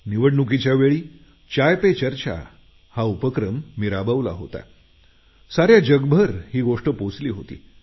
निवडणुकीच्या वेळी मी चाय पे चर्चा हा उपक्रम राबवला होता आणि साऱ्या जगभर ही गोष्ट पोचली होती